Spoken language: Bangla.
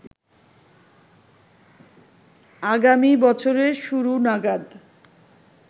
আগামী বছরের শুরু নাগাদ